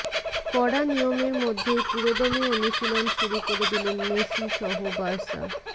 কড়া নিয়মের মধ্যেই পুরোদমে অনুশীলন শুরু করে দিলেন মেসি সহ বার্সা